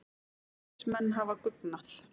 Alþingismenn hafa guggnað